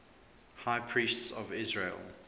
high priests of israel